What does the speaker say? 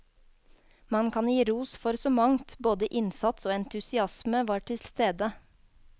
Man kan gi ros for så mangt, både innsats og entusiasme var til stede.